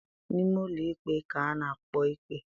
N'ime ụlọikpe ka a na-ekpe ikpe.